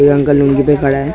ए uncle lungi पे खड़ा है।